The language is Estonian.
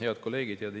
Head kolleegid!